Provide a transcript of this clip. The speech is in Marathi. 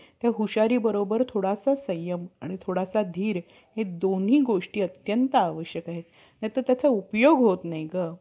ब्रम्हा मेल्यानंतर आर्य लोकांच्या मूळच्या नावाचा आपोआप लोप होऊन त्यांचे नाव ब्राम्हण पडले. नंतर, मागाहून मनू सारखे अधिकार झाले.